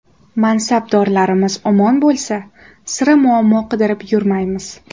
Mansabdorlarimiz omon bo‘lsa, sira muammo qidirib yurmaymiz.